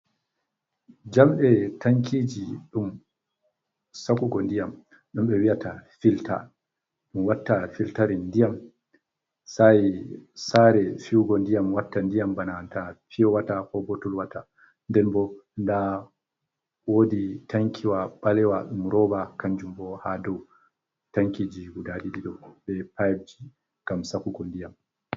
Jamɗɗe tankiji ɗum sakugo ndiyam ɗum ɓe wi'ata filta ɗum watta filtarin ndiyam sae sare fiwugo ndiyam watta ndiyam bana’anta fiyo wata ko botul wata, den bo nda wodi tankiwa ɓalewa ɗum roba kan jumbo ha dou tankiji guda ɗiɗi do be pipji gam sakugo ndiam.